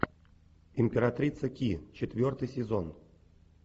императрица ки четвертый сезон